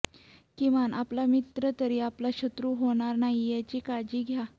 किमान आपला मित्र तरी आपला शत्रू होणार नाही याची काळजी घ्या